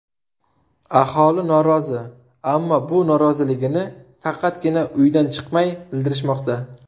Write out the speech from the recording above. Aholi norozi, ammo bu noroziligini faqatgina uydan chiqmay bildirishmoqda.